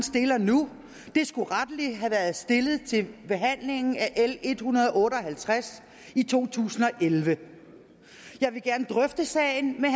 stiller nu skulle rettelig have været stillet til behandlingen af l en hundrede og otte og halvtreds i to tusind og elleve jeg vil gerne drøfte sagen med